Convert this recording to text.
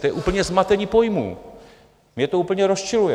To je úplně zmatení pojmů, mě to úplně rozčiluje.